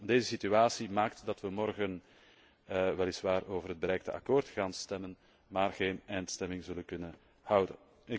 Deze situatie maakt dat wij morgen weliswaar over het bereikte akkoord gaan stemmen, maar geen eindstemming zullen kunnen houden.